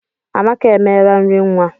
Amaka emela nri nwa.